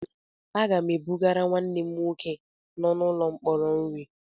Aga m ebugara nwanne m nwoke nọ n'ụlọ mkpọrọ nri.